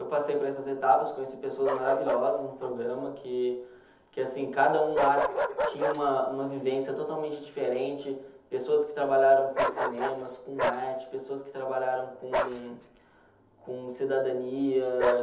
Eu passei por essas etapas, conheci pessoas maravilhosas no programa, que que assim, cada um lá tinha uma uma vivência totalmente diferente, pessoas que trabalharam com cinemas, com arte, pessoas que trabalharam com com cidadania.